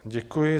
Děkuji.